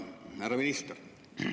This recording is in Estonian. Härra minister!